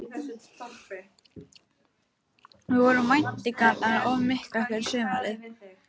Voru væntingarnar of miklar fyrir sumarið?